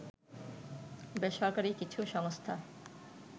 বেসরকারি কিছু সংস্থা